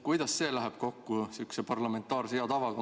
Kuidas see läheb kokku sihukese parlamentaarse hea tavaga?